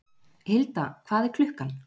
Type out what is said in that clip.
Hilda, hvað er klukkan?